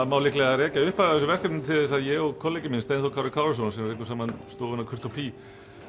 má líklega rekja upphafið að þessu verkefni til þess að ég og kollegi minn Steinþór Kári Kárason sem rekum saman stofuna kúrt og bí